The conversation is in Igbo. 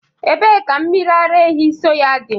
Ebee ka mmiri ara ehi soy dị?